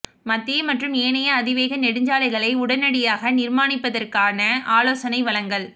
மத்திய மற்றும் ஏனைய அதிவேக நெடுஞ்சாலைகளை உடனடியாக நிர்மாணிப்பதற்கான ஆலோசனை வழங்கல்